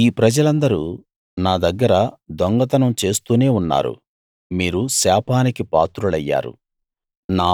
ఈ ప్రజలందరూ నా దగ్గర దొంగతనం చేస్తూనే ఉన్నారు మీరు శాపానికి పాత్రులయ్యారు